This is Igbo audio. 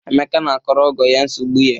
Emeka na-akọrọ ọgọ ya nsogbu ya.